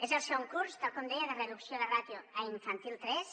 és el segon curs tal com deia de reducció de ràtios a infantil tres